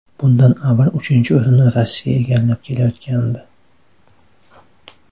Bundan avval uchinchi o‘rinni Rossiya egallab kelayotgandi .